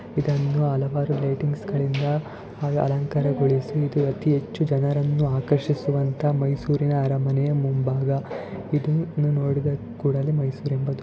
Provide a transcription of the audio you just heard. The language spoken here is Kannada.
ಇದನ್ನು ಹಲವಾರು ಲೈಟಿಂಗ್ಸ ಗಳಿಂದ ಅಲಂಕಾರ ಗೋಳಿಸಿ ಇದು ಅತೀ ಹೆಚ್ಚು ಜನರನ್ನು ಆರ್ಷಿಸುವಂತ ಮೈಸೂರಿನ ಅರಮನೆಯ ಮುಂಬಾಗ ಇದನ್ನು ನೋಡಿದ ಕೂಡಲೇ ಮೈಸೂರ ಎಂಬುದು.